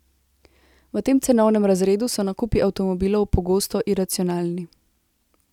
V tem cenovnem razredu so nakupi avtomobilov pogosto iracionalni.